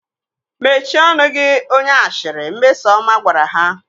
Mechie ọnụ gị onye ashịrị! Mmesọma gwara ha